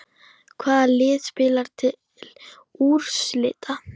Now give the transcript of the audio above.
Hvaða lið spila til úrslita?